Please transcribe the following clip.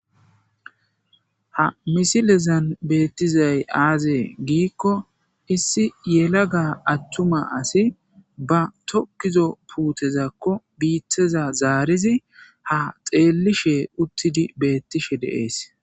Ha missilezan betizay aze gikko issi yelaga atumma asi ba tokizo putezakko biteza zarizi ha xelishe utidi betishe des.